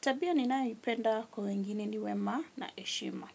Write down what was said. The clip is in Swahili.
Tabia ninayoipenda kwa wengine ni wema na heshima.